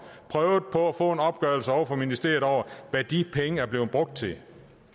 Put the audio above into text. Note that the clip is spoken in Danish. prøvet på at få en opgørelse fra ministeriet over hvad de penge er blevet brugt til